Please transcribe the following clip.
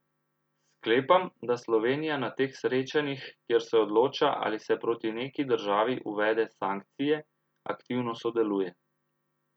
Sklepam, da Slovenija na teh srečanjih, kjer se odloča, ali se proti neki državi uvede sankcije, aktivno sodeluje.